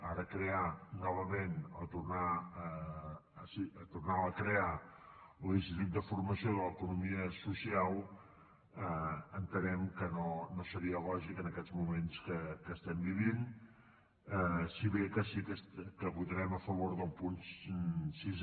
ara crear novament o en fi tornar a crear un institut de formació de l’economia social entenem que no seria lògic en aquests moments que estem vivint si bé que sí que votarem a favor del punt sis